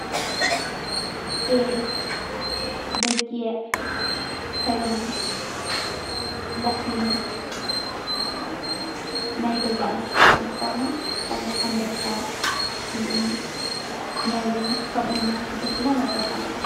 ጤል፣ በጊዕ፣ ከልቢ፣ ላሕሚ ናይ ገዛ እንስሳት እትኾኑ፣ ከም ኣንበሳ ፣ ዝብኢ፣ ነብሪ ከምኡውን ማንትለ ድማ ናይ በረኻ እንስሳታት እዮም።